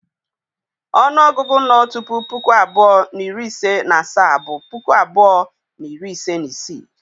Onuogugu no tupu puku abuo na iri ise na asaa bụ puku abuo na iri ise na isii.